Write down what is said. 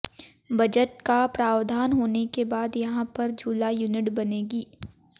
budget का प्रावधान होने के बाद यहां पर झूला यूनिट बनेगी